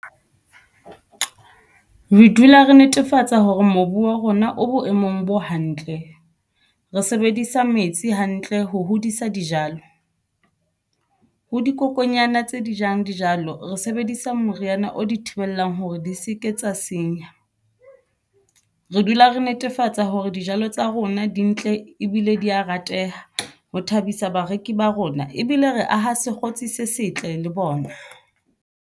Re dula re netefatsa hore mobu wa rona o boemong bo hantle re sebedisa metsi hantle ho hodisa dijalo ho dikokonyana tse di jang dijalo re sebedisa moo moriana o di thibelang hore di se ke tsa senya. Re dula re netefatsa hore dijalo tsa rona di ntle ebile di ya rateha ho thabisa bareki ba rona ebile re aha sekgotsi se setle le bona.